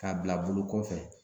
Ka bila bolo kɔfɛ.